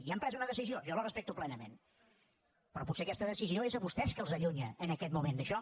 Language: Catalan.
ja han pres una decisió jo la respecto plenament però potser aquesta decisió és a vostès que els allunya en aquest moment d’això